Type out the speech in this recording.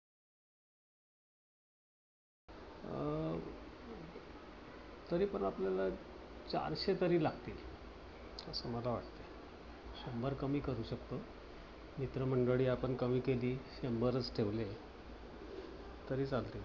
अं तरी पण आपल्याला चारशे तरी लागतील. असं मला वाटत. शंभर कमी करू शकतो. मित्र मंडळी आपण कमी केली. शंभर एक ठेवूया तरी चालतील.